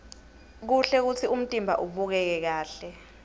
kuhle kutsi umtimba ubukeke kahle